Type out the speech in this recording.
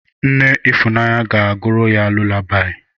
Nne Ifunanya ga-agụrụ ya lulabaị.